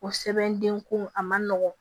O sɛbɛnden ko a man nɔgɔn